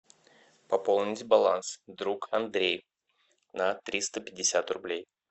пополнить баланс друг андрей на триста пятьдесят рублей